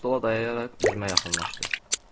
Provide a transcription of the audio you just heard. Dirərsəyini stola dayayaraq üzümə yaxınlaşdı.